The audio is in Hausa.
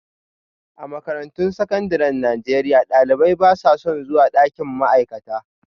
A makarantun sakandaren Najeriya, ɗalibai ba sa son zuwa ɗakin ma'aikata